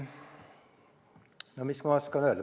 No mis ma oskan öelda.